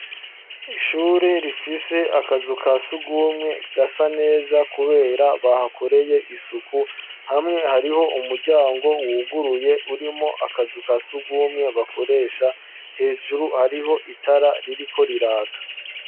Ishuri rifise akazu ka sugumwe gasa neza kubera bahakoreye isuku hamwe hariho umuryango wuguruye urimwo akazu ka sugumwe bakoresha hejuru hariho itara ririko riraka